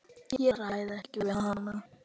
Ég ræð ekki við hann!